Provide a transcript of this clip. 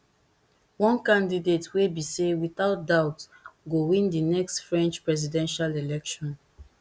one candidate wey be say without doubt go win di next french presidential election